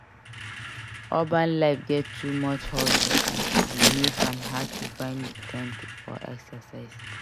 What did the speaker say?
Urban life get too much hustle and e dey make am hard to find time for exercise.